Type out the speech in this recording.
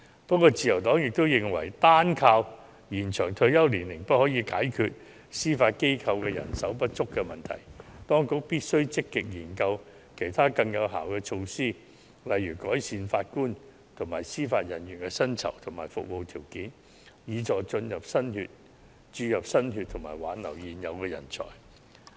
不過，自由黨也認為，單靠延展退休年齡不可解決司法機構人手不足問題，當局必須積極研究其他更有效的措施，例如改善法官及司法人員的薪酬及服務條件，以助注入新血及挽留現有人才。